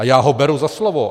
A já ho beru za slovo.